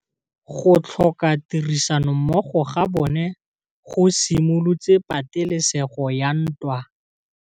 Go tlhoka tirsanommogo ga bone go simolotse patêlêsêgô ya ntwa.